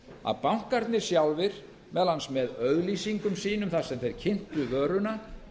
að bankarnir sjálfir meðal annars með auglýsingum efnum þar sem þeir kynntu vöruna